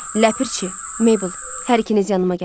"Ləpirçi, Meybəl, hər ikiniz yanıma gəlin.